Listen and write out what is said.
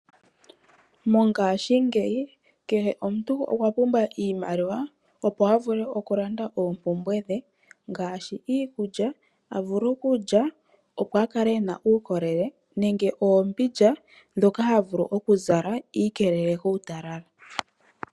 Mongashingeyi kehe omuntu okwa pumbwa iimaliwa, opo avule oku landa oompumbwe dhe, ngashi iikulya a vule okulya, opo akale ena uukolele nenge oombindja dhoka ha vulu oku zala, iikelele kutalala.